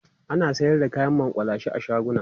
ana sayar da kayan makullashe a shaguna